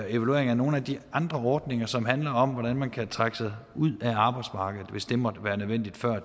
evaluering af nogle af de andre ordninger som handler om hvordan man kan trække sig ud af arbejdsmarkedet hvis det måtte være nødvendigt så er